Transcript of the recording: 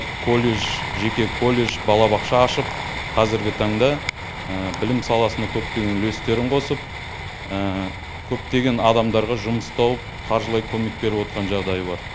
колледж жеке колледж балабақша ашып қазіргі таңда білім саласына көптеген үлестерін қосып көптеген адамға жұмыс тауып қаржылай көмек беріп отқан жағдайы бар